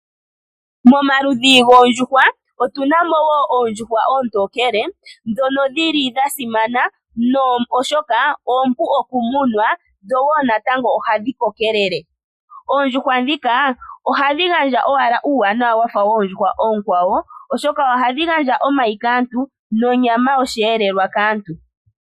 Momaludhi goondjuhwa otuna mo woo oondjuhwa oontokele, ndhono dhili dhasimana oshoka oompu okumunwa dho woo natango ohadhi kokelele. Oondjuhwa ndhika ohadhi gandja owala uuwanawa wafa woondjuhwa oonkwawo, oshoka ohadhi gandja omayi kaantu nonyama yosheelelwa kaantu.